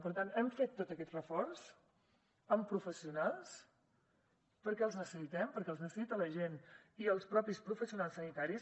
per tant hem fet tots aquests reforç amb professionals perquè els necessitem perquè els necessita la gent i els mateixos professionals sanitaris